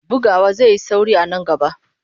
Bugawa zai yi sauri a nan gaba.